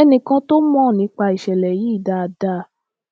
ẹnìkan tó mọ nípa ìṣẹlẹ yìí dáadáa